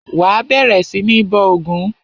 Wà á bẹ̀rẹ̀ sí ní bọ ògún!